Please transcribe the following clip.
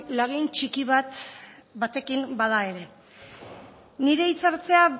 lagin txiki batekin bada ere nire hitzartzea